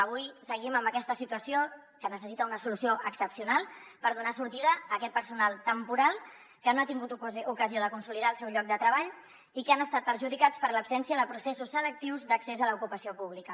avui seguim amb aquesta situació que necessita una solució excepcional per donar sortida a aquest personal temporal que no ha tingut ocasió de consolidar el seu lloc de treball i que han estat perjudicats per l’absència de processos selectius d’accés a l’ocupació pública